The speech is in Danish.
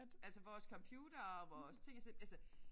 Altså vores computere og vores ting og sager altså